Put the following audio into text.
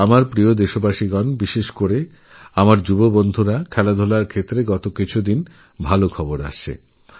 আমার প্রিয়দেশবাসী বিশেষ করে আমার যুবা বন্ধুরা খেলাধূলার জগত থেকে বিগত কয়েকদিনে সুখবরএসেছে